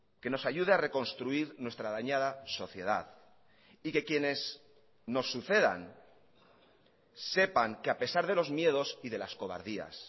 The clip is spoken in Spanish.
que nos ayude a reconstruir nuestra dañada sociedad y que quienes nos sucedan sepan que a pesar de los miedos y de las cobardías